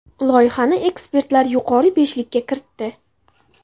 Loyihani ekspertlar yuqori beshlikka kiritdi.